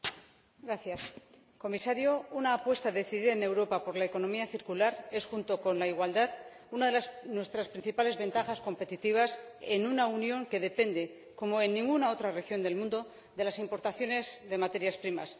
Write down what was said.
Señora Presidenta, señor Comisario, una apuesta decidida en Europa por la economía circular es, junto con la igualdad, una de nuestras principales ventajas competitivas en una Unión que depende, como ninguna otra región del mundo, de las importaciones de materias primas.